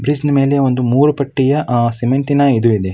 ಬ್ರಿಜ್ನ ಮೇಲೆ ಒಂದು ಮೂರೂ ಪಟ್ಟಿಯ ಸಿಮೆಂಟಿನ ಇದು ಇದೆ.